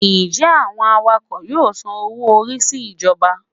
Njẹ awọn awakọ yọọ sán owo-orí si ijọba?